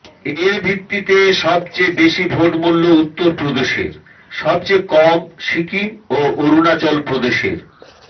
এর ভিত্তিতে সবচেয়ে বেশি ভোট মূল্য উত্তরপ্রদেশের সবচেয়ে কম সিকিম ও অরুণাচল প্রদেশের